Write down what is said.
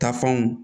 Taafanw